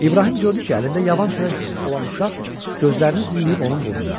İbrahim gördü ki, əlində yavan çörək olan uşaq gözlərini zilləyib onun burnuna.